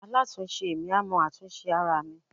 alatisẹ mi, a mọ atún sẹ aramí